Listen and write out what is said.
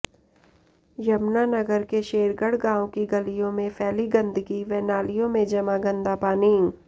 यमुनानगर के शेरगढ़ गांव की गलियों में फैली गंदगी व नालियों में जमा गंदा पानी